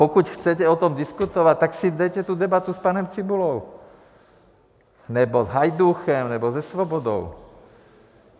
Pokud chcete o tom diskutovat, tak si veďte tu debatu s panem Cibulou nebo s Hajdúchem nebo se Svobodou.